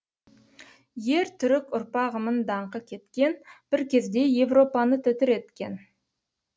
ер түрік ұрпағымын даңқы кеткен бір кезде европаны тітіреткен